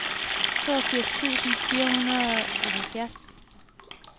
toogfirs tusind fire hundrede og halvfjerds